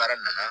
Baara nana